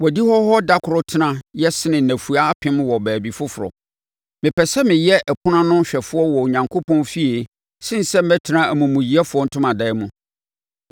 Wʼadihɔ hɔ da korɔ tena yɛ sene nnafua apem wɔ baabi foforɔ; mepɛ sɛ mɛyɛ ɔpono ano hwɛfoɔ wɔ Onyankopɔn fie sene sɛ mɛtena amumuyɛfoɔ ntomadan mu.